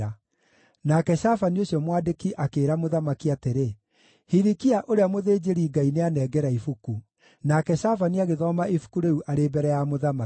Nake Shafani ũcio mwandĩki akĩĩra mũthamaki atĩrĩ, “Hilikia ũrĩa mũthĩnjĩri-Ngai nĩanengera ibuku.” Nake Shafani agĩthoma ibuku rĩu arĩ mbere ya mũthamaki.